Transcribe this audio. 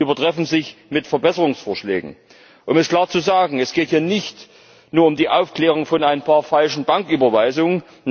und übertreffen sich mit Verbesserungsvorschlägen. Um es klar zu sagen Es geht hier nicht nur um die Aufklärung von ein paar falschen Banküberweisungen.